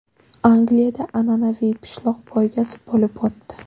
Angliyada an’anaviy pishloq poygasi bo‘lib o‘tdi.